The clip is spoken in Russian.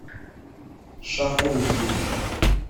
шахуньей